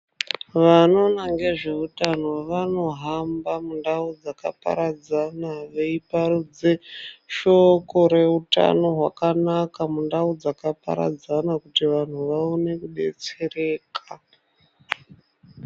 Vanoona ngezvehutano vanohamba mundau dzakaparadzana veiparidza shoko reutano rakanaka mundaraunda mundau dzakaparadzana kuti vanhu vaone kudetsereka.